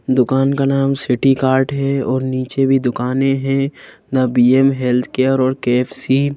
दुकान का नाम सिटी कार्ड है और नीचे भी दुकानें हैं ना बी_एम हेल्थ केयर और के_एफ_सी ।